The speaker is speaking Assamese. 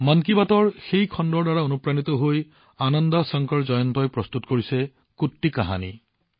মন কী বাতৰ সেই কাৰ্যসূচীৰ পৰা অনুপ্ৰাণিত হৈ আনন্দ শংকৰ জয়ন্তই প্ৰস্তুত কৰিছে কুট্টি কাহানি